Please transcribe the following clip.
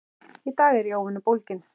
Í dag er ég óvenju bólgin.